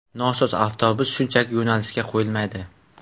Nosoz avtobus shunchaki yo‘nalishga qo‘yilmaydi.